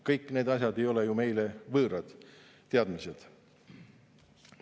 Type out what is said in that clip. Kõik need asjad ei ole ju meile võõrad teadmised.